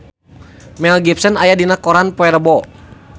Mel Gibson aya dina koran poe Rebo